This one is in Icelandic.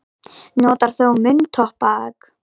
Notar þú munntóbak?